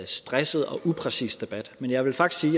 stresset og upræcis debat men jeg vil faktisk